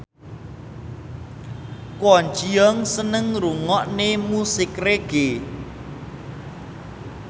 Kwon Ji Yong seneng ngrungokne musik reggae